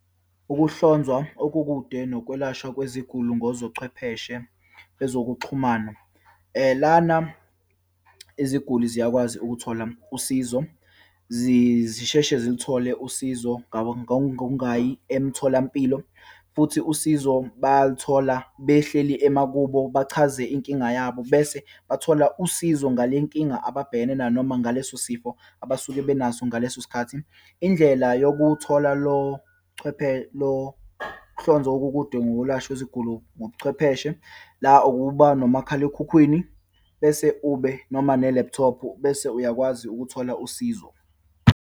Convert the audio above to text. Ukuhlonzwa okukude nokwelashwa kweziguli ngozochwepheshe bezokuxhumana. Lana iziguli ziyakwazi ukuthola usizo. Zisheshe ziluthole usizo ngokungayi emtholampilo, futhi usizo balithola behleli emakubo, bachaze inkinga yabo, bese bathola usizo ngale nkinga ababhekene nayo noma ngaleso sifo abasuke benaso ngaleso sikhathi. Indlela yokuthola lo lo kuhlonzwa okukude ngokwelashwa kweziguli ngobuchwepheshe, la ukuba nomakhalekhukhwini bese ube noma ne-laptop, bese uyakwazi ukuthola usizo.